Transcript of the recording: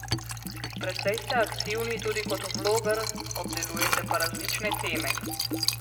Precej ste aktivni tudi kot vloger, obdelujete pa različne teme.